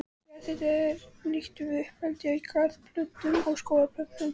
Jarðhiti er einnig nýttur við uppeldi á garðplöntum og skógarplöntum.